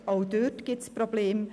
Auch dort gibt es Probleme.